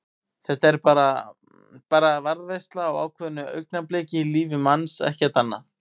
Þetta er bara. bara varðveisla á ákveðnu augnabliki í lífi manns, ekkert annað.